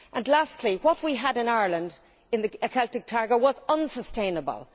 Lastly, what we had in Ireland in the Celtic Tiger era was unsustainable.